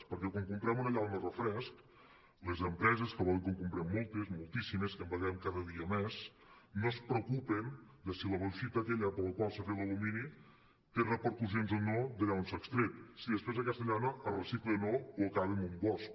perquè quan comprem una llauna de refresc les empreses que volen que en comprem moltes moltíssimes que en beguem cada dia més no es preocupen de si la bolsita té repercussions o no d’allà on s’ha extret si després aquesta llauna es recicla o no o acaba en un bosc